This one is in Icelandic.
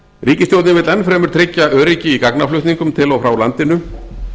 ríkisstjórnin vill enn fremur tryggja öryggi í gagnaflutningum til og frá landinu